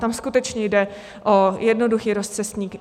Tam skutečně jde o jednoduchý rozcestník.